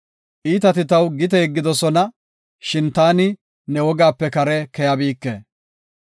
Iitati taw gite yeggidosona; shin taani ne wogaape kare keyabike.